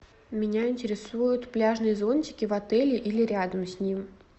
меня интересуют пляжные зонтики в отеле или рядом с ним